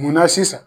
Munna sisan